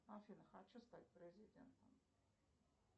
афина хочу стать президентом